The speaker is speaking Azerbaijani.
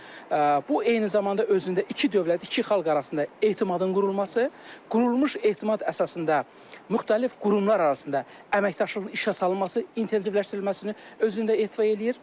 Bu eyni zamanda özündə iki dövlət, iki xalq arasında etimadın qurulması, qurulmuş etimad əsasında müxtəlif qurumlar arasında əməkdaşlığın işə salınması, intensivləşdirilməsini özündə ehtiva eləyir.